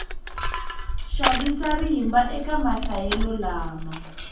xavisa rimba eka mahlayelo lama